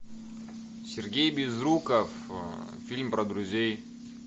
сергей безруков фильм про друзей